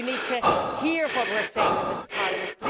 You need to hear what we are saying in this Parliament.